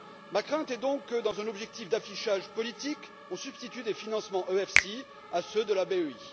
Ma crainte est donc que, dans un objectif d'affichage politique, on substitue des financements EFSI à ceux de la BEI.